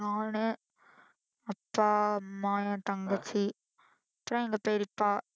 நானு, அப்பா, அம்மா, என் தங்கச்சி அப்புறம் எங்க பெரியப்பா